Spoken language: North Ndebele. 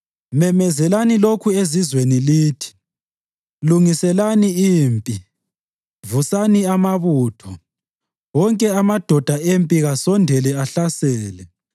Memezelani lokhu ezizweni lithi: Lungiselani impi! Vusani amabutho! Wonke amadoda empi kasondele ahlasele.